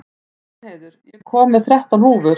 Danheiður, ég kom með þrettán húfur!